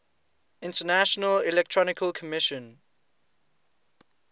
international electrotechnical commission